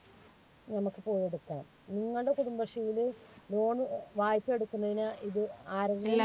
നമ്മുക്ക് പോയി എടുക്കാം. നിങ്ങളുടെ കുടുംബശ്രീയില് loan വായ്‌പ എടുക്കുന്നതിന് ഇത് ആരെങ്കിലും